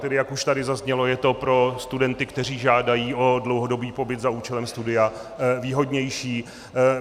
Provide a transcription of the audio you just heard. Tedy, jak už tady zaznělo, je to pro studenty, kteří žádají o dlouhodobý pobyt za účelem studia, výhodnější.